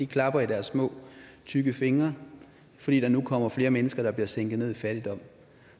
klapper i deres små tykke fingre fordi der nu kommer flere mennesker der bliver sænket ned i fattigdom